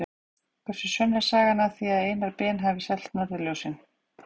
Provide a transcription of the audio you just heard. hversu sönn er sagan af því að einar ben hafi selt norðurljósin